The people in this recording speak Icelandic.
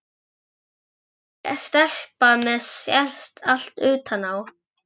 Ég er ekki stelpa sem allt sést utan á.